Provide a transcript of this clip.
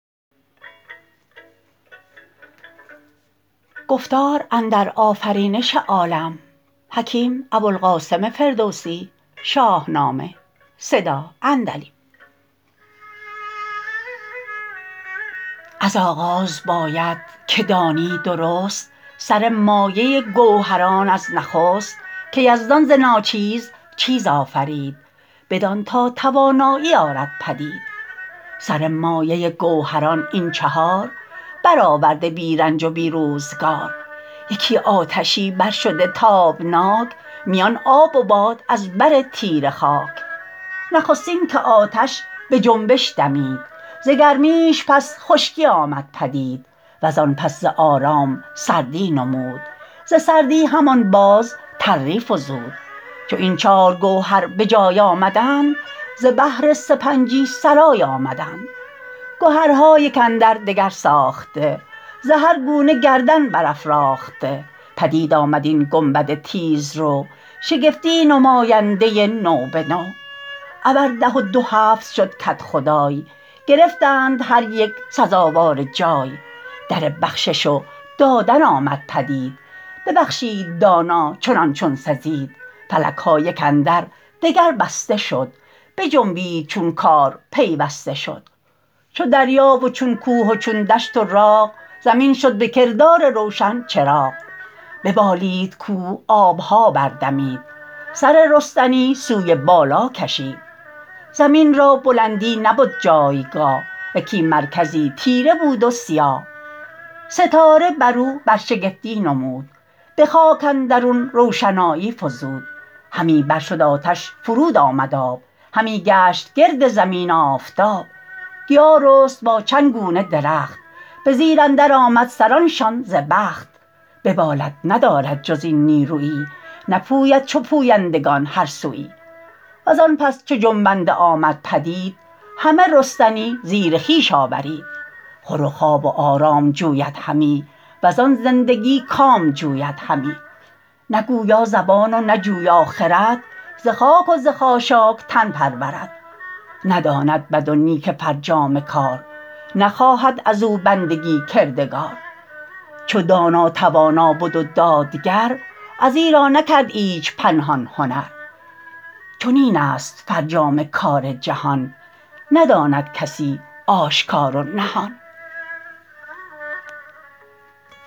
از آغاز باید که دانی درست سر مایه گوهران از نخست که یزدان ز ناچیز چیز آفرید بدان تا توانایی آرد پدید سر مایه گوهران این چهار برآورده بی رنج و بی روزگار یکی آتشی بر شده تابناک میان آب و باد از بر تیره خاک نخستین که آتش به جنبش دمید ز گرمیش پس خشکی آمد پدید و زان پس ز آرام سردی نمود ز سردی همان باز تری فزود چو این چار گوهر به جای آمدند ز بهر سپنجی سرای آمدند گهرها یک اندر دگر ساخته ز هر گونه گردن برافراخته پدید آمد این گنبد تیز رو شگفتی نماینده نو به نو ابر ده و دو هفت شد کدخدای گرفتند هر یک سزاوار جای در بخشش و دادن آمد پدید ببخشید دانا چنان چون سزید فلک ها یک اندر دگر بسته شد بجنبید چون کار پیوسته شد چو دریا و چون کوه و چون دشت و راغ زمین شد به کردار روشن چراغ ببالید کوه آب ها بر دمید سر رستنی سوی بالا کشید زمین را بلندی نبد جایگاه یکی مرکزی تیره بود و سیاه ستاره بر او برشگفتی نمود به خاک اندرون روشنایی فزود همی بر شد آتش فرود آمد آب همی گشت گرد زمین آفتاب گیا رست با چند گونه درخت به زیر اندر آمد سران شان ز بخت ببالد ندارد جز این نیرویی نپوید چو پویندگان هر سویی و زان پس چو جنبنده آمد پدید همه رستنی زیر خویش آورید خور و خواب و آرام جوید همی و زان زندگی کام جوید همی نه گویا زبان و نه جویا خرد ز خاک و ز خاشاک تن پرورد نداند بد و نیک فرجام کار نخواهد از او بندگی کردگار چو دانا توانا بد و دادگر از ایرا نکرد ایچ پنهان هنر چنین است فرجام کار جهان نداند کسی آشکار و نهان